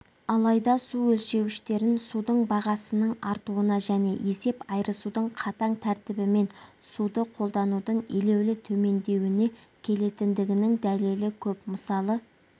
алайда су өлшеуіштерін судың бағасының артуына және есеп айырысудың қатаң тәртібімен суды қолданудың елеулі төмендеуіне келетіндігінің дәлелі көп мысалы